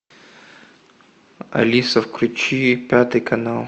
алиса включи пятый канал